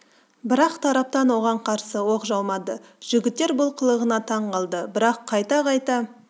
бірақ тараптан оған қарсы оқ жаумады жігіттер бұл қылығына таң қалды бірақ қайта-қайта